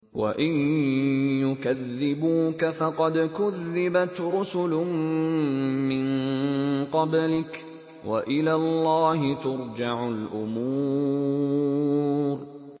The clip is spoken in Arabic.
وَإِن يُكَذِّبُوكَ فَقَدْ كُذِّبَتْ رُسُلٌ مِّن قَبْلِكَ ۚ وَإِلَى اللَّهِ تُرْجَعُ الْأُمُورُ